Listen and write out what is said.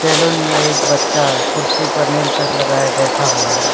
Salon में एक बच्चा कुर्सी पर नील शर्ट लगाए बैठा हुआ है।